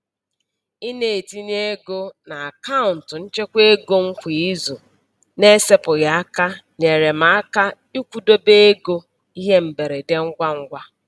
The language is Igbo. Ị na-etinye ego n'akaụntụ nchekwaego m kwa izu na-esepụghị aka nyeere m aka ịkwụdobe ego ihe mberede ngwangwa.